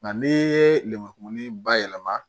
Nka n'i ye lemuru kumuni bayɛlɛma